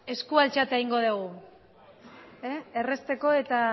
eskua altxatuta egingo dugu errazteko eta